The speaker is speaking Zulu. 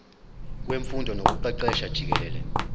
wemfundo nokuqeqesha jikelele